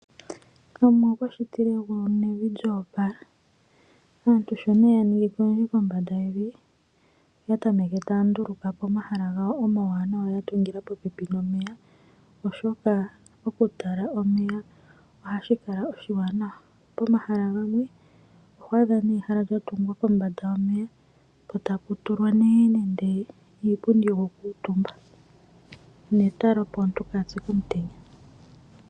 Omuwa okwa shitile egulu nevi lyo opala. Aantu shi ya ningi ko oyendji kombanda yevi, oya tameke taya nduluka po omahala gawo omawanawa ga tungilwa pooha dhomeya, oshoka okutala omeya ohashi kala oshiwanawa. Pomahala gamwe oho adha nduno ehala lya tungilwa kombanda yomeya, po tapu tulwa iipundi yokukuutumba netala, opo aantu kaya pye komutenya.